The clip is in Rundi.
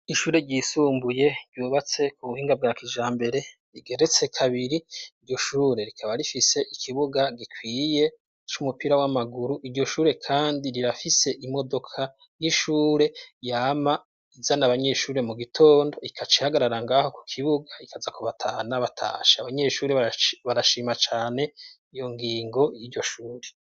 Ishure ryisumbuye ryubatse ku buhinga bwa kijambere rigeretse kabiri. Iryo shure rikaba rifise ikibuga gikwiye c'umupira w'amaguru. Iryo shure kandi rirafise imodoka y'ishure, yama izana abanyeshure mu gitondo, ikaca ihagarara ng'aho ku kibuga, ikaza kubatahana batashe. Abanyeshuri barashima cane iyo ngingo y'iryo shure.